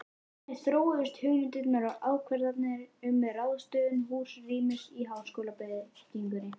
Þannig þróuðust hugmyndir og ákvarðanir um ráðstöfun húsrýmis í háskólabyggingunni.